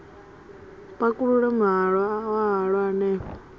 pakulule muhwalo wa halwa hanefho